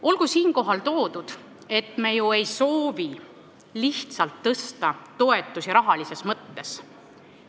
Olgu siinkohal öeldud, et me ju ei soovi tõsta toetusi lihtsalt rahalises mõttes.